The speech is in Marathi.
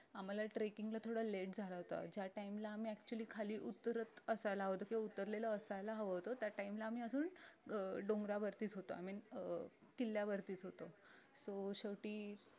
आम्हाला trekking ला थोडा late झाला होता ज्या time ला आम्ही actually खाली उतरत असायला हवं होत किंवा उतरलेलं असायला हवं होत त्या time ला आम्ही अजून अं डोंगरावरतीच होतो अं किल्ल्या वरतीच होतो so शेवटी